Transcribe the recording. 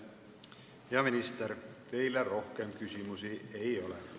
Hea minister, teile rohkem küsimusi ei ole.